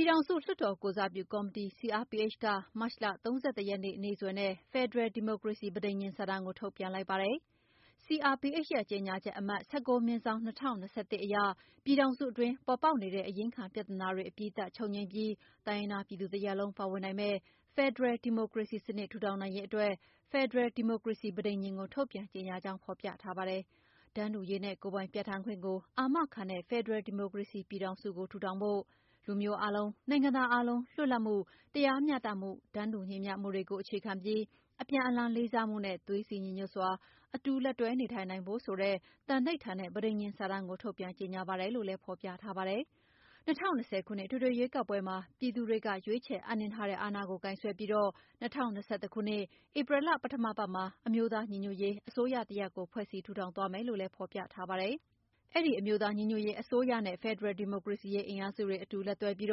ည်ထောင်စုလွှတ်တော်ကိုယ်စားပြုကော်မတီ CRPH က မတ်လ ၃၁ ရက်နေ့စွဲနဲ့ ဖယ်ဒရယ်ဒီမိုကရေစီ ပဋိညာဉ်စာတမ်းကို ထုတ်ပြန်လိုက်ပါတယ်။ CRPH ရဲ့ ကြေညာချက်အမှတ် (၁၉ /၂၀၂၁) အရ ပြည်ထောင်စုအတွင်း ပေါ်ပေါက်နေတဲ့ အရင်းခံပြဿနာတွေ အပြီးသတ် ချုပ်ငြိမ်းပြီး တိုင်းရင်းသားပြည်သူတရပ်လုံး ပါဝင်နိုင်မယ့် ဖယ်ဒရယ်ဒီမိုကရေစီစနစ် ထူထောင်နိုင်ရေးအတွက် ဖယ်ဒရယ်ဒီမိုကရေစီ ပဋိညာဉ်ကို ထုတ်ပြန်ကြေညာကြောင်းဖော်ပြထားပါတယ်။ တန်းတူရေးနဲ့ ကိုယ်ပိုင်ပြဌာန်းခွင့်ကိုအာမခံတဲ့ ဖယ်ဒရယ်ဒီမိုကရေစီပြည်ထောင်စုကို တည်ထောင်ဖို့၊ လူမျိုးအားလုံး၊ နိုင်ငံသားအားလုံး လွတ်လပ်မှု၊ တရားမ ျှတမှု၊ တန်းတူညီမ ျှမှုတွေကို အခြေခံပြီး အပြန်အလှန်လေးစားမှုနဲ့ သွေးစည်းညီညွှတ်စွာ အတူလက်တွဲနေထိုင်နိုင်ဖို့ ဆိုတဲ့ သန္နိဋ္ဌာန်နဲ့ ပဋိညာဉ်စာတမ်းကို ထုတ်ပြန်ကြေညာပါတယ်လို့လည်း ဖော်ပြထားပါတယ်။ ၂၀၂၀ ခုနှစ်အထွေထွေရွေးကောက်ပွဲမှာ ပြည်သူတွေကရွေးချယ်အပ်နှင်းထားတဲ့ အာဏာကို ကိုင်စွဲပြီး ၂၀၂၁ ခုနှစ်၊ ဧပြီလ ပထမအပတ်မှာ အမျိုးသားညီညွှတ်ရေးအစိုးရတရပ်ကို ဖွဲ့စည်းထူထောင်သွားမယ်လို့လည်း ဖော်ပြထားတာပါ။ အဲဒီ အမျိုးသားညီညွှတ်ရေးအစိုးရနဲ့ ဖယ်ဒရယ် ဒီမိုကရေစီရေး အင်အားစုတွေ အတူလက်တွဲပြီး